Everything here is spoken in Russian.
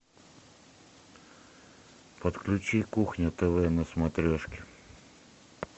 подключи кухня тв на смотрешке